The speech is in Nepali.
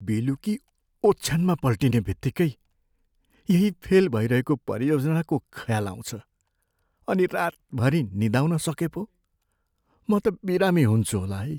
बेलुकी ओछ्यानमा पल्टने बित्तिकै यही फेल भइरहेको परियोजनाको ख्याल आउँछ, अनि रातभरि निदाउन सके पो? म त बिरामी हुन्छु होला है।